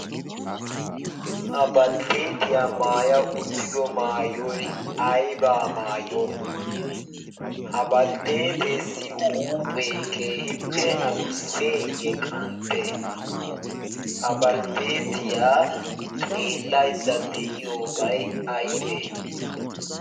ha baltteetiyaa maaya uttido maayoy aybaa maayo ha baltteeteessi huuphee keehippe adusseeyye qantte ha baltteetiyaa xeellaydda de'iyobay aybee